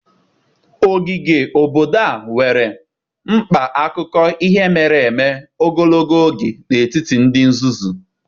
Ogige obodo a nwere mkpa akụkọ ihe mere eme ogologo oge n'etiti ndị Zuzu.